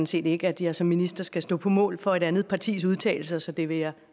set ikke at jeg som minister skal stå på mål for et andet partis udtalelser så det vil jeg